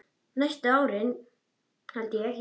Næstu árin held ég, já.